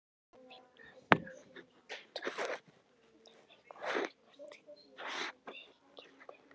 Finna að andvarpið er eitthvert þykkildi.